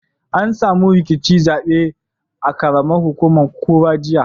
An samu rikicin zaɓe a ƙaramar hukumar kura, jiya.